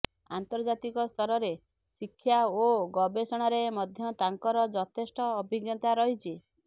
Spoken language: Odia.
ଆନ୍ତର୍ଜାତିକସ୍ତରରେ ଶିକ୍ଷା ଓ ଗବେଷଣାରେ ମଧ୍ୟ ତାଙ୍କର ଯଥେଷ୍ଟ ଅଭିଜ୍ଞତା ରହିଛି